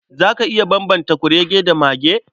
Za ka iya bambanta kurege da mage?